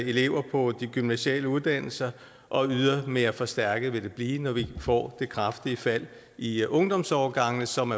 elever på de gymnasiale uddannelser og yderligere forstærket vil det blive når vi får det kraftige fald i ungdomsårgangene som